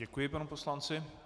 Děkuji panu poslanci.